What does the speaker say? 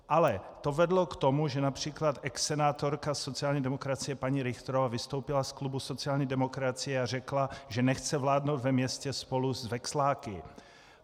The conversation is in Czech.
Ale to vedlo k tomu, že například exsenátorka sociální demokracie paní Richtrová vystoupila z klubu sociální demokracie a řekla, že nechce vládnout ve městě spolu s veksláky.